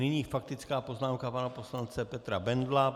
Nyní faktická poznámka pana poslance Petra Bendla.